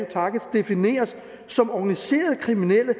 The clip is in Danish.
defineres som organiserede kriminelle